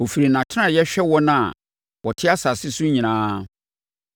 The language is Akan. Ɔfiri nʼatenaeɛ hwɛ wɔn a wɔte asase so nyinaa.